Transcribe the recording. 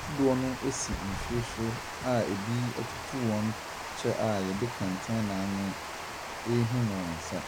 Kodoɔ no ɛsi nsuo so a ɛbi ɛtutu wɔn kyɛ a wɔde kɛntɛn awene ɛrehim wɔn nsa.